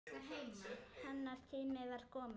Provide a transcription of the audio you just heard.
Hennar tími var kominn.